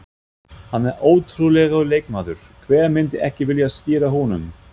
Hann er ótrúlegur leikmaður, hver myndi ekki vilja stýra honum?